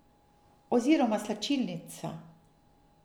Oziroma slačilnica.